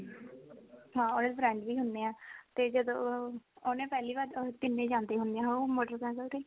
ਹਾਂ ਉਹਦੇ friends ਵੀ ਹੁਨੇ ਆ ਤੇ ਜਦੋਂ ਉਹ ਉਹ ਨਾ ਪਹਿਲੀ ਵਾਰ ਤਿੰਨੇ ਜਾਂਦੇ ਹੁੰਦੇ ਆ ਉਹ motorcycle ਤੇ